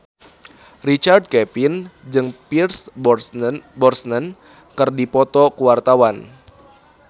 Richard Kevin jeung Pierce Brosnan keur dipoto ku wartawan